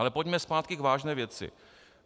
Ale pojďme zpátky k vážné věci.